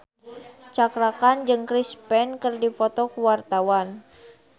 Cakra Khan jeung Chris Pane keur dipoto ku wartawan